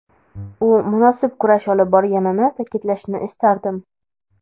U munosib kurash olib borganini ta’kidlashni istardim.